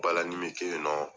Balanin bɛ kɛ yennɔ.